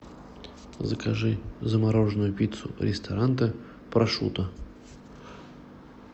закажи замороженную пиццу ресторанте прошутто